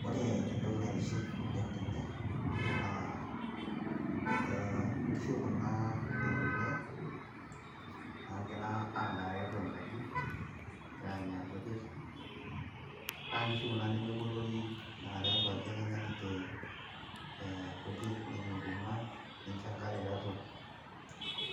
Wore entoki naitiship oleng tene naa , eeh inkishu kuna ekule nagira aadaa tiatua enkaji , egira anya inkujit , naa inkishu kuna nemebolori naa tiatua aji ake enya ninje eeh inkujit , nenya enkuruma ninjo enkare tiatua ,